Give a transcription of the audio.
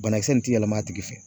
Banakisɛ in ti yɛlɛm'a tigi fɛ.